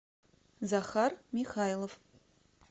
захар михайлов